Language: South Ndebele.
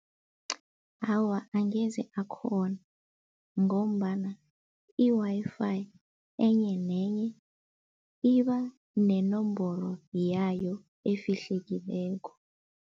Awa, angeze akhona ngombana i-Wi-Fi enye nenye iba nenomboro yayo efihlekileko.